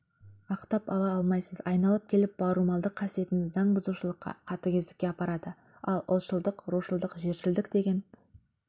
ақтап ала алмайсыз айналып келіп бауырмалдық қасиетің заңбұзушылыққа қатыгездікке апарады ал ұлтшылдық рушылдық жершілдік деген